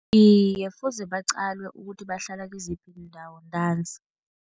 Iye, fuze baqalwe ukuthi bahlala kiziphi iindawo ntanzi.